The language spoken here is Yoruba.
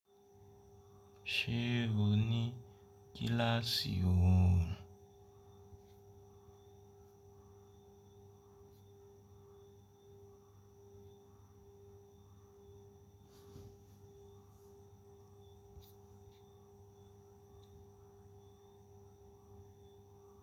Ṣé o ní kíláàsì ohùn?